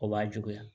O b'a juguya